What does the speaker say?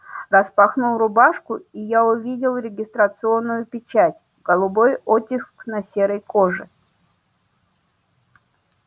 распахнул рубашку и я увидел регистрационную печать голубой оттиск на серой коже